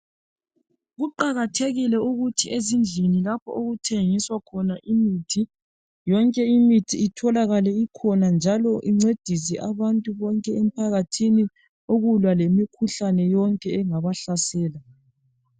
Kuqakathekile ukuthi ezindlini lapho okuthengiswa khona imithi yonke imithi itholakale ikhona njalo incedise abantu bonke emphakathini ukulwa lemikhuhlane yonke engabahlasela.